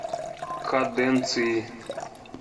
каденции